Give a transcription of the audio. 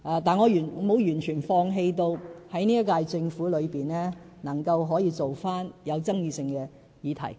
但是，我並非完全放棄在本屆政府任內，處理有爭議性的議題。